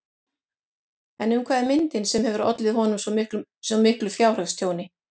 En um hvað er myndin sem hefur ollið honum svo miklu fjárhagstjóni?